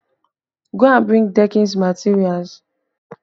Go and bring deckings materials!